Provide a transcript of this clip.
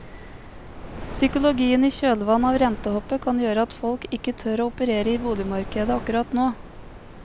Psykologien i kjølvannet av rentehoppet kan gjøre at folk ikke tør å operere i boligmarkedet akkurat nå.